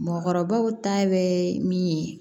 Mɔgɔkɔrɔbaw ta bɛ min ye